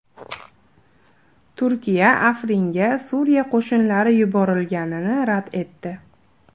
Turkiya Afringa Suriya qo‘shinlari yuborilganini rad etdi.